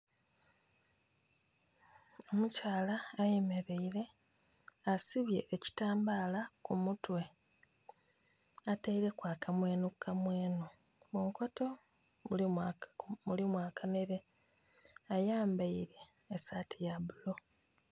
Omukyala ayemeleire, asibye ekitambaala ku mutwe. Ataileku akamwenhukamwenhu. Munkoto mulimu aka...mulimu akanhere. Ayambaile esaati ya bulu.